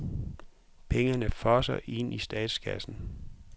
Pengene fosser ind i statskassen.